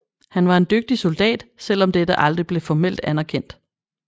Han var en dygtig soldat selv om dette aldrig blev formelt anderkendt